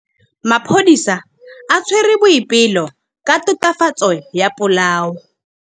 Maphodisa a tshwere Boipelo ka tatofatsô ya polaô.